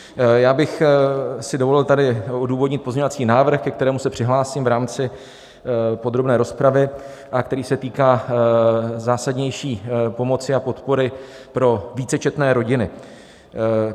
Já bych si dovolil tady odůvodnit pozměňovací návrh, ke kterému se přihlásím v rámci podrobné rozpravy a který se týká zásadnější pomoci a podpory pro vícečetné rodiny.